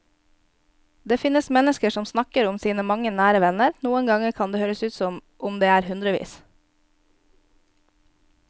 Det finnes mennesker som snakker om sine mange nære venner, noen ganger kan det høres ut som om det er hundrevis.